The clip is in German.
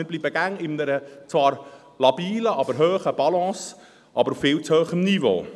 Wir bleiben stets, zwar in einer labilen, aber hohen Balance, aber auf viel zu hohem Niveau.